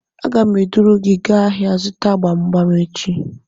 Aga m eduru gị gaa ahịa zụta gbam gbam echi